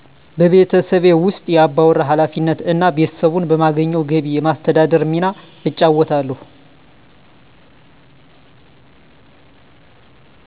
በቤተሠቤ ውስ የአባወራ ኃላፊነት እና ቤተሰቡን በማገኘው ገቢ የማስተዳደር ሚና እጫወታለሁ